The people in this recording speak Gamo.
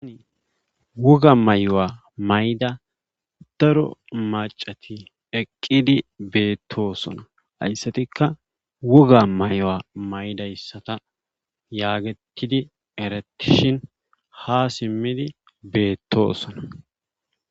Woga mayuwa mayida daro maccati eqqidi beettoosona hayssatikka woga mayuwa mayidayssata yaagettidi erettishin haa simmidi beettoosona.